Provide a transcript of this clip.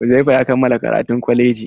Uzaifa ya kammala karatun kwalaji.